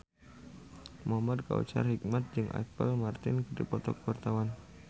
Muhamad Kautsar Hikmat jeung Apple Martin keur dipoto ku wartawan